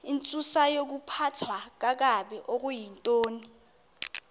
intsusayokuphathwa kakabi okuyintoni